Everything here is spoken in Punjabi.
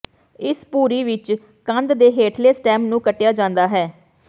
ਇਸ ਭੁਰੀ ਵਿਚ ਕੰਦ ਦੇ ਹੇਠਲੇ ਸਟੈਮ ਨੂੰ ਕੱਟਿਆ ਜਾਂਦਾ ਹੈ